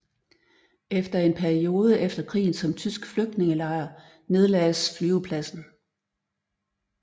Efter en periode efter krigen som tysk flygtningelejr nedlagdes flyvepladsen